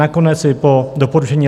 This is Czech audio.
Nakonec i po doporučení